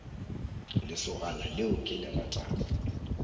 lesogana leo ke le ratago